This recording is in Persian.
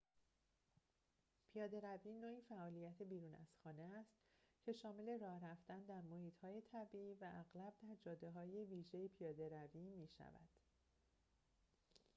پیاده‌روی نوعی فعالیت بیرون از خانه است که شامل راه رفتن در محیط‌های طبیعی و اغلب در جاده‌های ویژه پیاده‌روی می‌شود